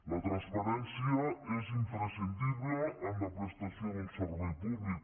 la transparència és imprescindible en la prestació d’un servei públic